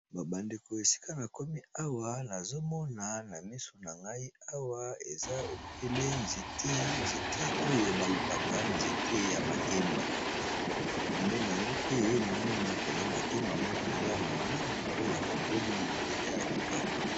babandeko esika na komi awa nazomona na miso na ngai awa eza ebele nzete oyo balobaka nzete ya makemba epembe nango pe naomona koza makemba ma mpenza ya monene oyo ekoli deja ya kitoko